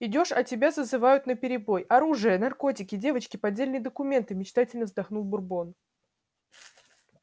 идёшь а тебя зазывают наперебой оружие наркотики девочки поддельные документы мечтательно вздохнул бурбон